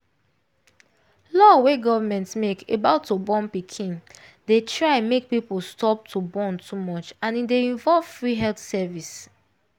law wey government make about to born pikin dey try make people stop to born too much and e dey involve free health service.